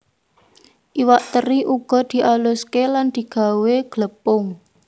Iwak teri uga dialuské lan digawé glepung